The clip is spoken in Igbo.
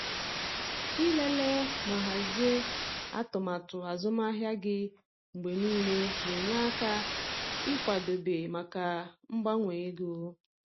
Ịlele ma hazie atụmatụ azụmahịa gị mgbe niile na-enye aka ịkwadebe maka mgbanwe ego.